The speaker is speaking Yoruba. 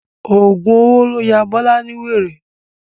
Ọ̀gùn owó ló ya Bọ́lá ní wèrè.